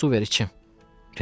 Mənə su ver içim.